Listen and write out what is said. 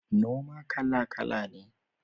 Noma kala-kala ne.